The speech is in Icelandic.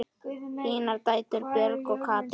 Þínar dætur, Björg og Katrín.